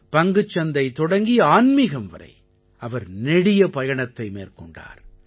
பங்குச்சந்தை தொடங்கி ஆன்மீகம் வரை அவர் நெடிய பயணத்தை மேற்கொண்டார்